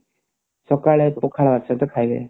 ସକାଳେ ପଖାଳ ସହିତ ଖାଇବେ